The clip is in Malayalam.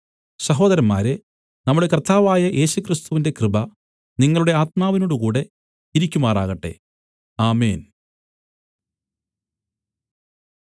സഹോദരന്മാരേ നമ്മുടെ കർത്താവായ യേശുക്രിസ്തുവിന്റെ കൃപ നിങ്ങളുടെ ആത്മാവിനോടുകൂടെ ഇരിക്കുമാറാകട്ടെ ആമേൻ